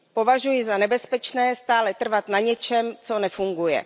Považuji za nebezpečné stále trvat na něčem, co nefunguje.